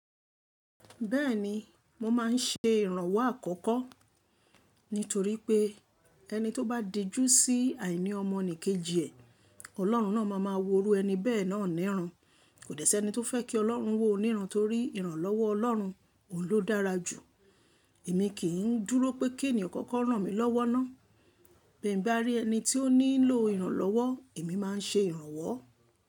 Bẹ́ẹ̀ni, mo máa ń ṣe ìrànwọ́ àkọ́kọ́ nítorí pé ẹni tó bá dijú sí àìní ọmọnìkejì ẹ̀, Ọlọ́run náà máa máa wo irú ẹni bẹ́ẹ̀ náà níran. Kò dẹ́ sí ẹni tó fẹ́ kí Ọlọ́run wo òun níran torí ìrànlọ́wọ́ Ọlọ́run, òun ló dára jù. Èmi kì ń dúró pé kí ènìyàn kọ́kọ́ rán mi lọ́wọ́ ná. Bí mo bá rí ẹni tí ó ní ńilo ìrànlọ́wọ́, èmi máa ń ṣe ìrànwọ́